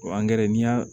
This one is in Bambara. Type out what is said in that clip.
n'i y'a